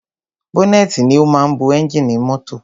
Bọ́nẹ́tì ni o máa ń bo ẹ́ngìnì mọ́tọ̀.